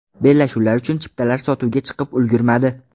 Bellashuvlar uchun chiptalar sotuvga chiqib ulgurmadi.